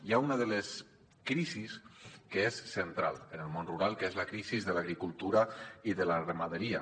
hi ha una de les crisis que és central en el món rural que és la crisi de l’agricultura i de la ramaderia